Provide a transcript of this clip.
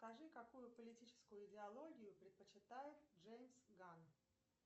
скажи какую политическую идеологию предпочитает джеймс ганн